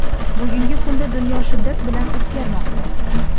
Bugungi kunda dunyo shiddat bilan o‘zgarmoqda.